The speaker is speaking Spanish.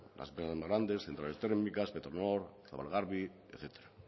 centrales térmicas petronor zabalgarbi etcétera